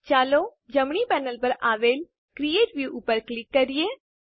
ચાલો જમણી પેનલ પર આવેલ ક્રિએટ વ્યૂ ઉપર ક્લિક કરીએ